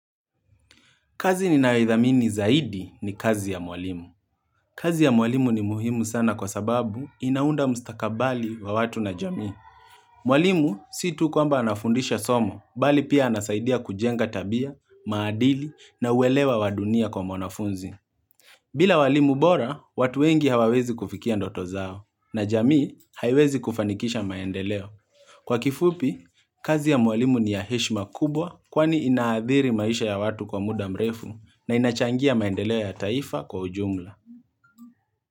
Kazi ninayoithamini zaidi ni kazi ya mwalimu. Kazi ya mwalimu ni muhimu sana kwa sababu inaunda mstakabali wa watu na jamii. Mwalimu si tu kwamba anafundisha somo, bali pia anasaidia kujenga tabia, maadili na uwelewa wa dunia kwa mwanafunzi. Bila walimu bora, watu wengi hawawezi kufikia ndoto zao, na jamii haiwezi kufanikisha maendeleo. Kwa kifupi, kazi ya mwalimu ni ya heshima kubwa, kwani inahadhiri maisha ya watu kwa muda mrefu. Na inachangia maendeleo ya taifa kwa ujumla.